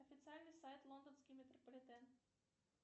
официальный сайт лондонский метрополитен